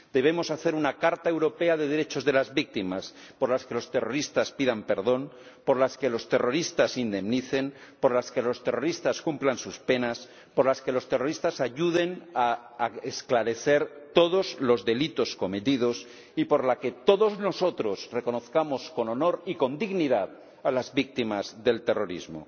Debemos hacer una carta europea de derechos de las víctimas, por la que los terroristas pidan perdón, por la que los terroristas indemnicen, por la que los terroristas cumplan sus penas, por la que los terroristas ayuden a esclarecer todos los delitos cometidos, y por la que todos nosotros reconozcamos con honor y con dignidad a las víctimas del terrorismo.